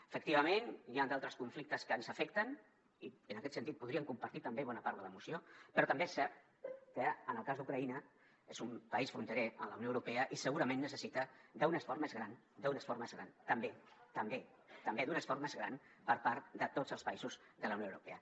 efectivament hi han altres conflictes que ens afecten i en aquest sentit podríem compartir també bona part de la moció però també és cert que en el cas d’ucraïna és un país fronterer amb la unió europea i segurament necessita un esforç més gran també per part de tots els països de la unió europea